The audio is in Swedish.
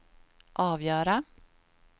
avgöra